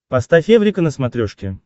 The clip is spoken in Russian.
поставь эврика на смотрешке